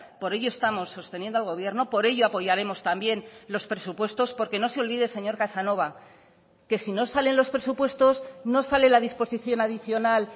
por ello estamos sosteniendo al gobierno por ello apoyaremos también los presupuestos porque no se olvide señor casanova que si no salen los presupuestos no sale la disposición adicional